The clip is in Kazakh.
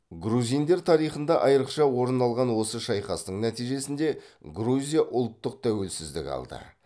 грузиндер тарихында айрықша орын алған осы шайқастың нәтижесінде грузия ұлттық тәуелсіздік алды